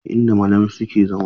Ɗakin ne inda malamai suke zama.